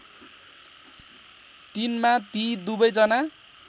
३ मा ती दुवैजना